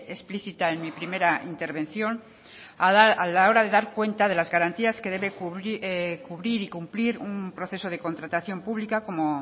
explícita en mi primera intervención a la hora de dar cuenta de las garantías que debe cubrir y cumplir un proceso de contratación pública como